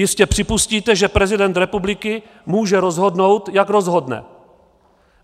Jistě připustíte, že prezident republiky může rozhodnout, jak rozhodne.